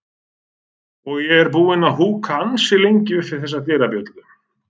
og ég er búinn að húka ansi lengi upp við þessa dyrabjöllu.